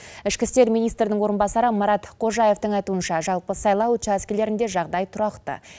ішкі істер министрінің орынбасары марат қожаевтың айтуынша жалпы сайлау учаскелерінде жағдай тұрақты